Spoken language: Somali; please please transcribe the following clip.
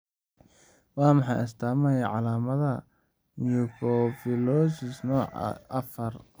Waa maxay astaamaha iyo calaamadaha Mucopolysaccharidosis nooca IV?